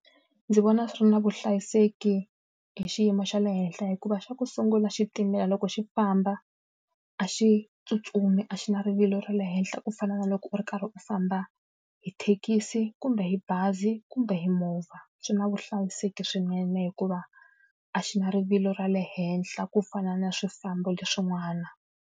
Ndzi vona swi ri na vuhlayiseki hi xiyimo xa le henhla hikuva xa ku sungula xitimela loko xi famba, a xi tsutsumi a xi na rivilo ra le henhla ku fana na loko u ri karhi u famba hi thekisi, kumbe hi bazi, kumbe hi movha. Swi na vuhlayiseki swinene hikuva a xi na rivilo ra le henhla ku fana na swifambo leswin'wana.